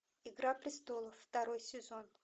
игра престолов второй сезон